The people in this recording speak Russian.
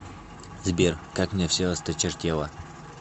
сбер как мне все осточертело